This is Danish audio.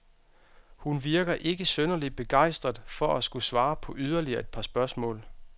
Han virker ikke synderlig begejstret for at skulle svare på yderligere et par spørgsmål.